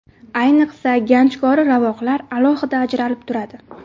Ayniqsa, ganchkori ravoqlar alohida ajralib turadi.